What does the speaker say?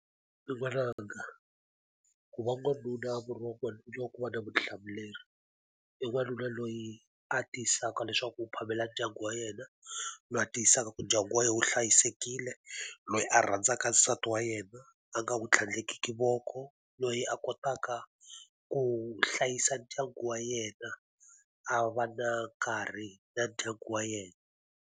N'wana nga, ku va n'wanuna murhi wa kona hileswaku u va na vutihlamuleri. E n'wanuna loyi a tiyisisaka leswaku u phamela ndyangu wa yena, loyi a tiyisisaka ku ndyangu wa yena wu hlayisekile, loyi a rhandzaka nsati wa yena a nga wu tlhandlekiki voko, loyi a kotaka ku hlayisa ndyangu wa yena a va na nkarhi na ndyangu wa yena.